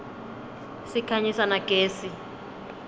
sikhanyisa na gezi